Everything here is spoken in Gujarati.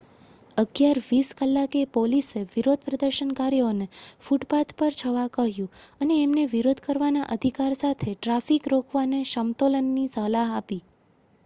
11:20 કલાકે પોલીસએ વિરોધ પ્રદર્શનકારીઓ ને ફૂટપાથ પર જવા કહ્યું અને એમને વિરોધ કરવાના અધિકાર સાથે ટ્રાફિક રોકવાને સમતોલવાની સલાહ આપી